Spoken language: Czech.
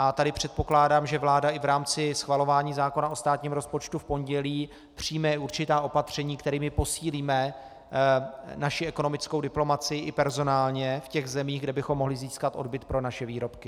A tady předpokládám, že vláda i v rámci schvalování zákona o státním rozpočtu v pondělí přijme určitá opatření, kterými posílíme naši ekonomickou diplomacii i personálně v těch zemích, kde bychom mohli získat odbyt pro naše výrobky.